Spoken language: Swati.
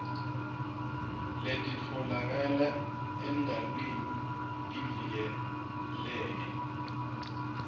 letitfolakala endalweni tivikeleke